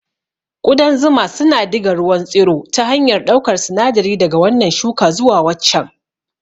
Ƙudan zuma suna diga ruwan tsiro ta hanyar ɗaukar sinadari daga wannan shuka zuwa waccan.